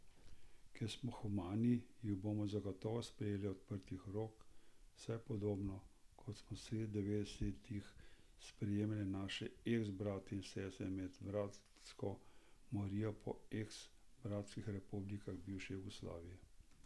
Ker smo humani, jih bomo zagotovo sprejeli odprtih rok, vsaj podobno, kot smo sredi devetdesetih sprejemali naše eks brate in sestre med bratsko morijo po eks bratskih republikah bivše Juge.